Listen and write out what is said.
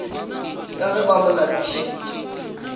ka ge ba mo lapišitše